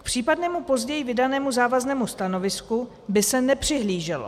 K případnému později vydanému závaznému stanovisku by se nepřihlíželo.